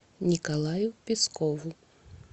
николаю пескову